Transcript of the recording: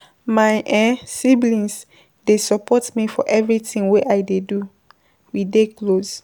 My siblings dey support me for everytin wey I dey do, we dey close.